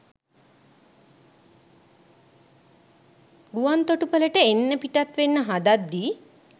ගුවන්තොටුපලට එන්න පිටත් වෙන්න හදද්දී